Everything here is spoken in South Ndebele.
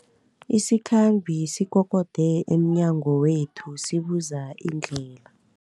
Isikhambi sikokode emnyango wethu sibuza indlela.